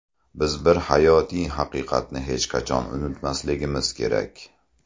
Biz bir hayotiy haqiqatni hech qachon unutmasligimiz kerak.